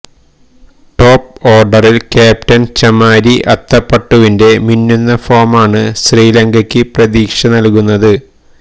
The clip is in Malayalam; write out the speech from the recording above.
ടോപ്പ് ഓർഡറിൽ ക്യാപ്റ്റൻ ചമാരി അത്തപ്പട്ടുവിൻ്റെ മിന്നുന്ന ഫോമാണ് ശ്രീലങ്കയ്ക്ക് പ്രതീക്ഷ നൽകുന്നത്